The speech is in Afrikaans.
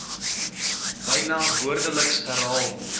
byna woordeliks herhaal